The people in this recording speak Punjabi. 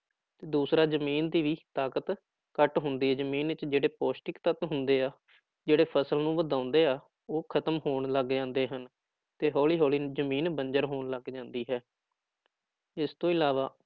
ਦੂਸਰਾ ਜ਼ਮੀਨ ਦੀ ਵੀ ਤਾਕਤ ਘੱਟ ਹੁੰਦੀ ਹੈ, ਜ਼ਮੀਨ ਵਿੱਚ ਜਿਹੜੇ ਪੋਸ਼ਟਕ ਤੱਤ ਹੁੰਦੇ ਆ, ਜਿਹੜੇ ਫ਼ਸਲ ਨੂੰ ਵਧਾਉਂਦੇ ਆ, ਉਹ ਖ਼ਤਮ ਹੋਣ ਲੱਗ ਜਾਂਦੇ ਹਨ ਤੇ ਹੌਲੀ ਹੌਲੀ ਜ਼ਮੀਨ ਬੰਜ਼ਰ ਹੋਣ ਲੱਗ ਜਾਂਦੀ ਹੈ ਇਸ ਤੋਂ ਇਲਾਵਾ